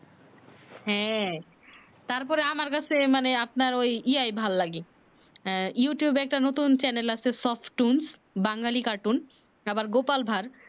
হ্যাঁ, তার পরে আমার কাছে মানে আপনার ঐ ইয়া ভাল লাগে ইউটিউবে এ একটা নতুন চ্যানেল আছে সফট টুন্স বাঙ্গুলি কাটুন তার পর গোপাল ভার